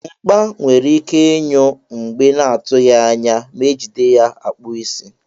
Mkpa nwere ike inyụ mgbe na atughi anya ma ejide ya akpụ isi.